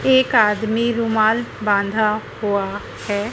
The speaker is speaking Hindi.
एक आदमी रुमाल बांधा हुआ है।